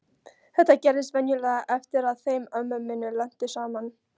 Þetta gerðist venjulega eftir að þeim ömmu minni lenti saman.